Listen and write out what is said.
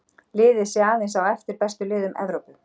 Liðið sé aðeins á eftir bestu liðum Evrópu.